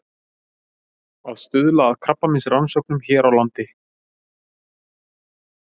Að stuðla að krabbameinsrannsóknum hér á landi.